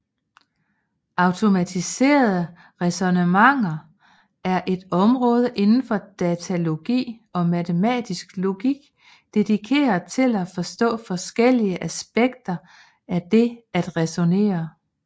Automatiserede ræsonnementer er et område indenfor datalogi og matematisk logik dedikeret til at forstå forskellige aspekter af det at ræsonnere